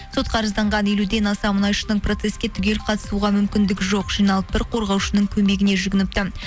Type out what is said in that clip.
сотқа арызданған елуден аса мұнайшының процесске түгел қатысуға мүмкіндігі жоқ жиналып бір қорғаушының көмегіне жүгініпті